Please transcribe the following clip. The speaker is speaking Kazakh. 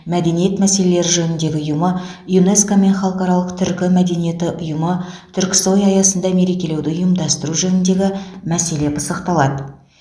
мәдениет мәселелері жөніндегі ұйымы юнеско мен халықаралық түркі мәдениеті ұйымы түрксой аясында мерекелеуді ұйымдастыру жөніндегі мәселе пысықталады